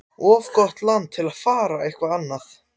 Of gott land til að fara eitthvað annað.